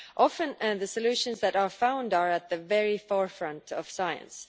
Often the solutions that are found are at the very forefront of science.